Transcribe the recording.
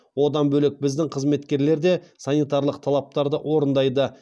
одан бөлек біздің қызметкерлер де санитарлық талаптарды орындайды